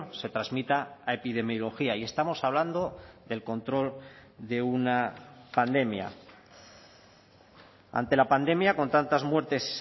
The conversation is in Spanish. se transmita a epidemiología y estamos hablando del control de una pandemia ante la pandemia con tantas muertes